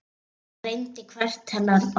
Hann reyndi hvert hennar orð.